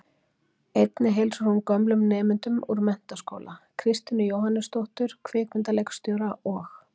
Einnig heilsar hún gömlum nemendum úr menntaskóla, Kristínu Jóhannesdóttur, kvikmyndaleikstjóra, og